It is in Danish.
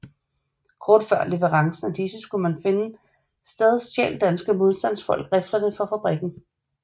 Kort før leverancen af disse skulle finde sted stjal danske modstandfolk riflerne fra fabrikken